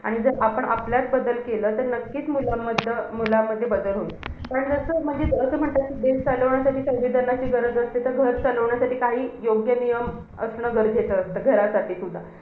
आणि जर आपण आपल्यात बदल केले. तर नक्कीच मुलांमध्ये~ मुलांमध्ये बदल होईल. पण जसं म्हणजे असं म्हणतात, कि देश चालवण्यासाठी संविधानाची गरज असते. तर घर चालवण्यासाठी काही योग्य नियम असणं गरजेचं असतं. घरासाठी सुद्धा.